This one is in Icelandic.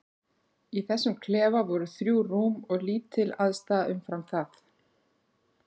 Í þessum klefa voru þrjú rúm og lítil aðstaða umfram það.